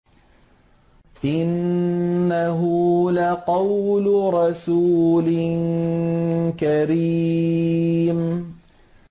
إِنَّهُ لَقَوْلُ رَسُولٍ كَرِيمٍ